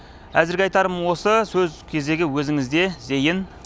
әзірге айтарым осы сөз кезегі өзіңізде зейін